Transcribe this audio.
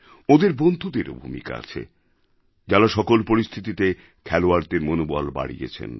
ওঁদের বন্ধুদেরও ভূমিকা আছে যাঁরা সকল পরিস্থিতিতে খেলোয়াড়দের মনোবল বাড়িয়েছেন